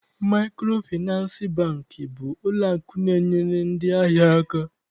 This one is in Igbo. Maịkrofịnansị Bankị bụ ụlọakụ na-enyere ndị ahịa aka.